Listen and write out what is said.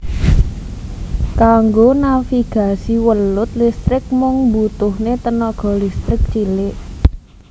Kanggo navigasi welut listrik mung mbutuhaké tegangan listrik cilik